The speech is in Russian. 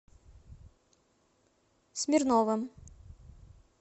смирновым